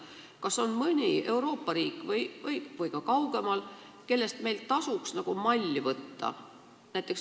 Kas on mõni riik Euroopas või ka kaugemal, kellelt meil tasuks malli võtta?